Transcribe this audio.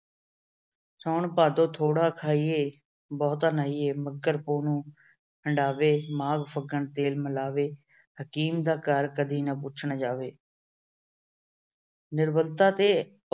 ਸਾਉਣ ਭਾਦੋਂ ਥੋੜਾ ਖਾਇਏ, ਬਹੁਤਾ ਨਹਾਈਏ। ਮੱਘਰ ਪੋਹ ਨੂੰ ਹੰਡਾਵੇ, ਮਾਘ ਫੱਗਣ ਫੇਰ ਮਿਲਾਵੇ। ਹਕੀਮ ਦਾ ਘਰ ਕਦੇ ਨਾ ਪੁੱਛਣ ਜਾਵੇ। ਨਿਰਬਲਤਾ ਤੇ